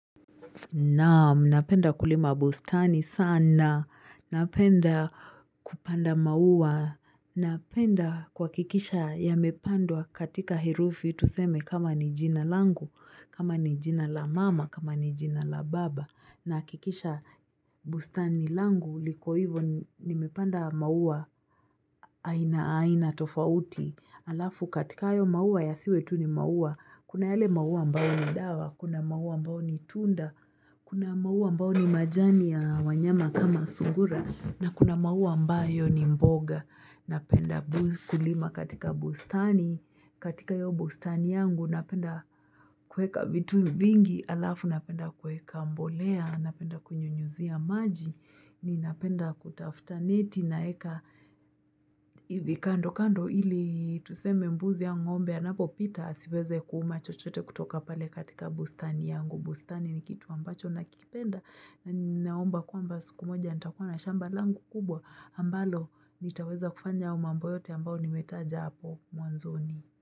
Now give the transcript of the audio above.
Naam, napenda kulima bustani sana. Napenda kupanda maua. Napenda kwakikisha ya mepandwa katika hirufi. Tuseme kama ni jina langu, kama ni jina la mama, kama ni jina la baba. Na hakikisha bustani langu liko hivo nimepanda maua aina aina tofauti alafu katika ayo maua ya siwe tu ni maua. Kuna yele maua ambayo ni dawa, kuna maua ambayo ni tunda, kuna maua ambayo ni majani ya wanyama kama sungura na kuna maua ambayo ni mboga. Napenda kulima katika bustani katika iyo bustani yangu napenda kueka vitu vingi alafu napenda kueka mbolea napenda kunyunyizia maji ni napenda kutafuta neti naeka hivi kando kando ili tuseme mbuzi au ngombe anapo pita asiweze kuuma chochote kutoka pale katika bustani yangu bustani ni kitu ambacho nakikipenda na naomba kwamba siku moja nitakuwa na shamba langu kubwa ambalo nitaweza kufanya hayo mambo yote ambayo nimetaja hapo mwanzoni.